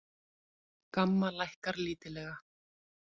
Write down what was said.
GAMMA lækkar lítillega